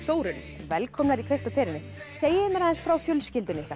velkomnar í kveikt á perunni segið mér frá fjölskyldunni ykkar